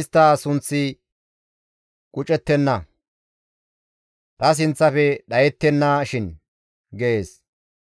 istta sunththi qucettenna; ta sinththafe dhayettennashin» gees.